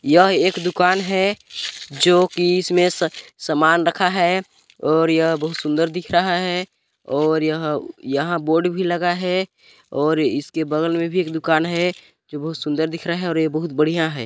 यह एक दुकान है जो कि इसमें स-समान रखा है और यह बहुत सुंदर दिख रहा है और यह-यहाँ बोर्ड भी लगा है और इसके बगल में भी एक दुकान है जो बहुत सुंदर दिख रहा है और ये बहुत बढ़िया है।